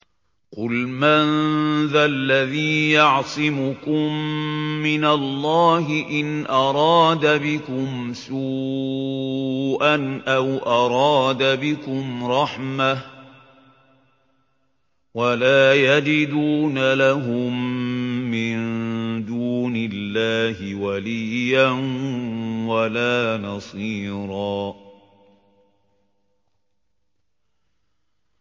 قُلْ مَن ذَا الَّذِي يَعْصِمُكُم مِّنَ اللَّهِ إِنْ أَرَادَ بِكُمْ سُوءًا أَوْ أَرَادَ بِكُمْ رَحْمَةً ۚ وَلَا يَجِدُونَ لَهُم مِّن دُونِ اللَّهِ وَلِيًّا وَلَا نَصِيرًا